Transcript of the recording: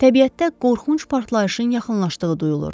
Təbiətdə qorxunc partlayışın yaxınlaşdığı duyulurdu.